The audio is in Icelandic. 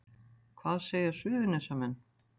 Hvað segja Suðurnesjamenn